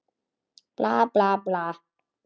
Bla, bla, bla.